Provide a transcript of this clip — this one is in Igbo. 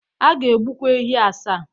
A ga-egbukwa ehi asaa.